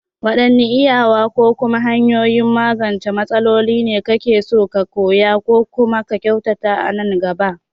Waɗanne iyawa ko kuma hanyoyin magance matsaloli ne kake so ka koya ko kuma ka kyautata a nan gaba?